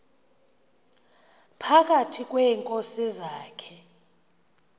phakathi kweenkosi zakhe